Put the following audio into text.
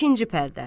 İkinci pərdə.